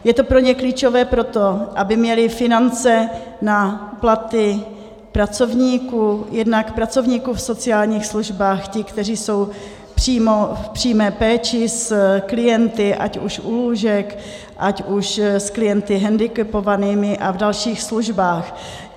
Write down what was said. Je to pro ně klíčové proto, aby měli finance na platy pracovníků, jednak pracovníků v sociálních službách, ti, kteří jsou v přímé péči s klienty, ať už u lůžek, ať už s klienty handicapovanými a v dalších službách.